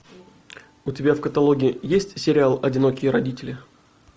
у тебя в каталоге есть сериал одинокие родители